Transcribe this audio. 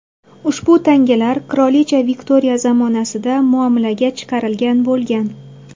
Ushbu tangalar qirolicha Viktoriya zamonasida muomalaga chiqarilgan bo‘lgan.